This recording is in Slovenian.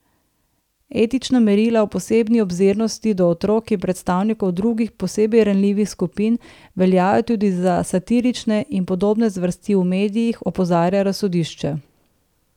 Etična merila o posebni obzirnosti do otrok in predstavnikov drugih posebej ranljivih skupin veljajo tudi za satirične in podobne zvrsti v medijih, opozarja razsodišče.